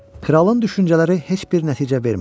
Kralın düşüncələri heç bir nəticə vermədi.